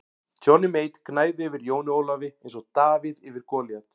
Johnny Mate gnæfði yfir Jóni Ólafi eins og Davíð yfir Golíat.